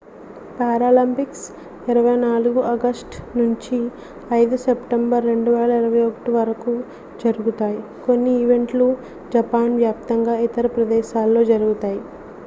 Paralympics 24 August నుంచి 5 September 2021 వరకు జరుగుతాయి కొన్ని ఈవెంట్లు జపాన్ వ్యాప్తంగా ఇతర ప్రదేశాల్లో జరుగుతాయి